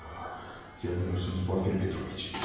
Yo, yanılıyorsunuz Porfir Petroviç.